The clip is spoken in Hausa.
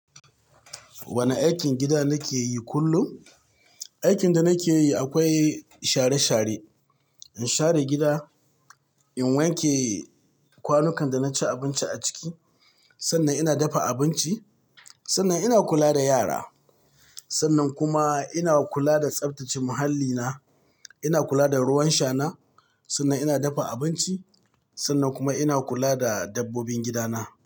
Wane aikin gida nake yi kullum? Aikin da nake yi akwai share share, in share gida, in wanke kwanukan da na ci abinci a ciki, sannan ina dafa abinci, sannan ina kula da yara, sannan kuma ina kula da tsaftace muhallina. Ina kula da ruwan shana, sannan ina dafa abinci, sannan kuma ina kula da dabbobin gidana.